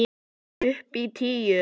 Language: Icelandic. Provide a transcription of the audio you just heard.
Upp á tíu!